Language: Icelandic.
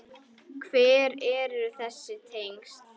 Hver eru þessi tengsl?